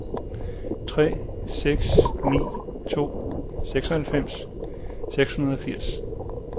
tre seks ni to seksoghalvfems seks hundrede og firs